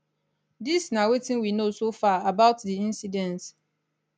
dis na wetin we know so far about di incidence